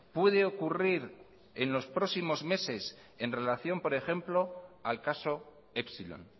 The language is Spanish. puede ocurrir en los próximos meses en relación por ejemplo al caso epsilon